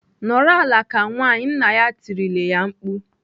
"Nọrọ ala ka nwaanyị!" Nna ya tirile ya mkpu.